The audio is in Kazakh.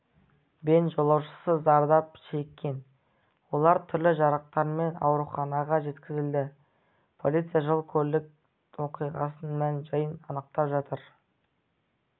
бен жолаушысы зардап шеккен олар түрлі жарақаттармен ауруханаға жеткізілді полиция жол-көлік оқиғасының мән-жайын анықтап жатыр